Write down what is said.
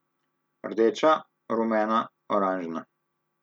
Rdeča, rumena, oranžna.